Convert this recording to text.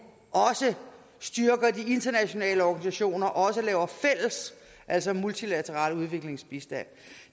også styrker de internationale organisationer og laver fælles altså multilateral udviklingsbistand